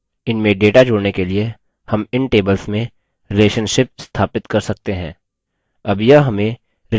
इनमें data जोड़ने के लिए हम इन tables में relationships संबंध स्थापित कर सकते हैं